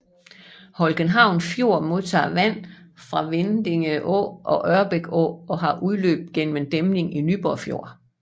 Holckenhavn Fjord modtager vand fra Vindinge Å og Ørbæk Å og har udløb gennem en dæmning til Nyborg Fjord